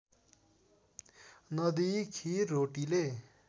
नदिई खिर रोटीले